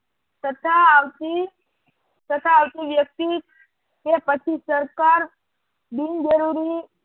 તથા આવતી તથા આવતી વ્યક્તિ કે પછી સરકાર બિનજરૂરી